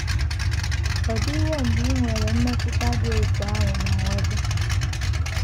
Ọ̀ DỊWO mgbe i nwere mmetụta dị otú ahụ n’onwe gị?